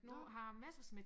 Nu har Messerschmidt